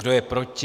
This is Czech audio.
Kdo je proti?